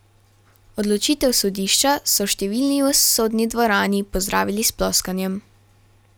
Odločitev sodišča so številni v sodni dvorani pozdravili s ploskanjem.